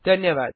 धन्यवाद